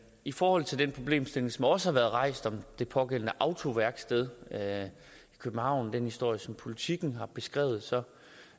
i forhold til den problemstilling som også har været rejst om det pågældende autoværksted i københavn den historie som politiken har beskrevet